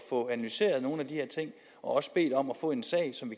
få analyseret nogle af de her ting og også bedt om at få en sag som